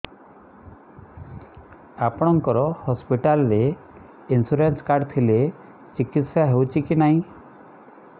ଆପଣଙ୍କ ହସ୍ପିଟାଲ ରେ insurance card ଥିଲେ ଚିକିତ୍ସା ହେଉଛି କି ନାଇଁ